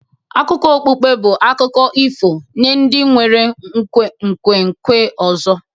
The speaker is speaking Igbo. Akụkọ okpukpe bụ akụkọ ifo nye ndị nwere nkwenkwe ọzọ